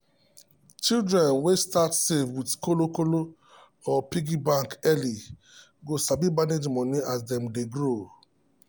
children wey start save with kolo kolo or piggy bank early go sabi manage money as dem grow.